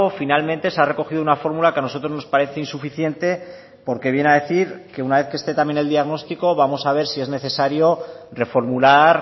finalmente se ha recogido una fórmula que a nosotros nos parece insuficiente porque viene a decir que una vez que esté también el diagnóstico vamos a ver si es necesario reformular